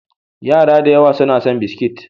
Yara da yawa suna son biskit.